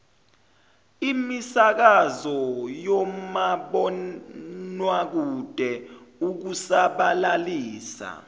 imisakazo nomabonwakude ukusabalalisa